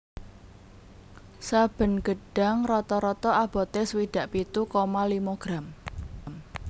Saben gedhang rata rata abote swidak pitu koma limo gram